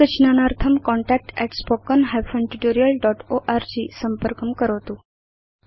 अधिकज्ञानार्थं contactspoken hyphen tutorial dot org संपर्कं करोतु